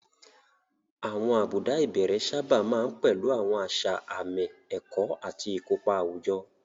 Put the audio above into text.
Àwọn àbùdá ìbẹ̀rẹ̀ sábà máa ń pẹ̀lú àwọn àṣà àmì, ẹ̀kọ́, àti ìkópa àwùjọ.